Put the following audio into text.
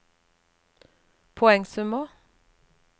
poengsummer